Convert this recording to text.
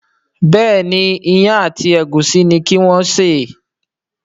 Béèni Iyán àti egusi ní kí wón ṣe.